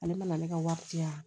Ale mana ne ka wari di yan